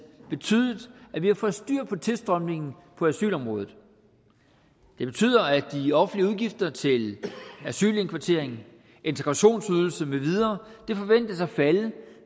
betydet at vi har fået styr på tilstrømningen på asylområdet det betyder at de offentlige udgifter til asylindkvartering integrationsydelse med videre forventes at falde